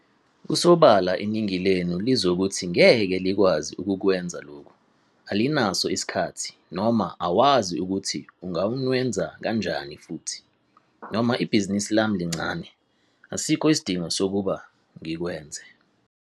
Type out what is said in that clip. Kusobala iningi lenu lizokuthi ngeke likwazi ukukwenza lokhu - alinaso isikhathi, noma awazi ukuthi unganwenza kanjani futhi, noma ibhizinisi lami lincane, asikho isidingo sokuba ngikwenze.